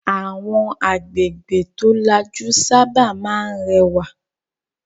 Àwọn agbègbè tó lajú sábà máa ń rẹwà.